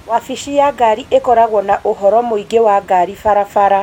wabici ya ngari ĩkoragwo na ũhoro muingi wa ngari barabara.